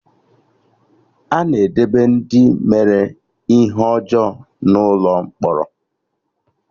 Ana edebe Ndị mere ihe ọjọọ n'Ụlọ mkpọrọ